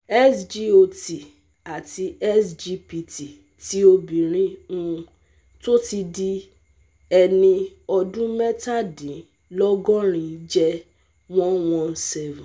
SGOT àti SGPT ti obìnrin um tó ti di ẹni ọdún mẹ́tàdínlọ́gọ́rin jẹ́ one one seven